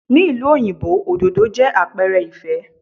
Ní ìlú òyìnbó, òdòdó jẹ́ àpẹrẹ ìfẹ́.